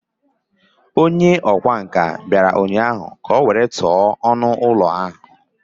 Onye ọkwá nkà bịara ụnyahụ ka o were tụọ ọnụ ụlọ ahụ